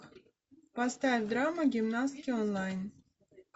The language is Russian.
поставь драму гимнастки онлайн